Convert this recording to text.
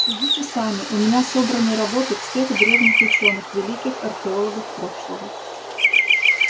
судите сами у меня собраны работы всех древних учёных великих археологов прошлого